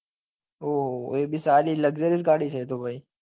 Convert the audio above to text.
ઓહો એ બી સારી luxurious ગાડી છે એ તો ભાઈ